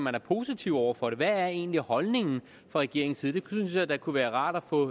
er positiv over for det hvad er egentlig holdningen fra regeringens side det synes jeg da kunne være rart at få